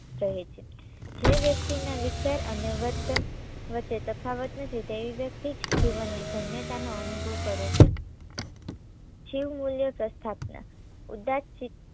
કહે છે જે વ્યક્તિના વિચાર અને વર્તન વચ્ચે તફાવત નથી તેવી વ્યક્તિ જ જીવનની ધન્યતાનો અનુભવ કરે છે. શિવ મૂલ્ય પ્રસ્થાપના ઉદ્દાત્ત શિવ